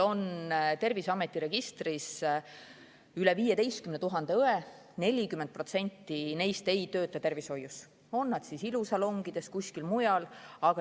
Terviseameti registris on üle 15 000 õe, aga 40% neist ei tööta tervishoius, vaid ilusalongides või kuskil mujal.